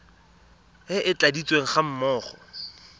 e e tladitsweng ga mmogo